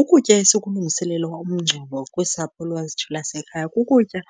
Ukutya esikulungiselela umngcwabo kwisapho lwethu lasekhaya kukutya